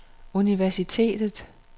universitetet